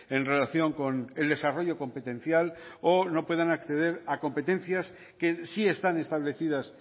en relación con el desarrollo competencial o no puedan acceder a competencias que sí están establecidas